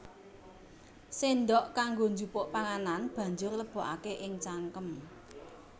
Séndhok kanggo njupuk panganan banjur lebokaké ing cangkem